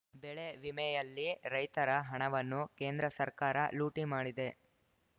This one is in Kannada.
ಬೆಳೆ ವಿಮೆಯಲ್ಲಿ ರೈತರ ಹಣವನ್ನು ಕೇಂದ್ರ ಸರ್ಕಾರ ಲೂಟಿ ಮಾಡಿದೆ